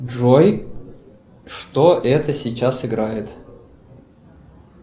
джой что это сейчас играет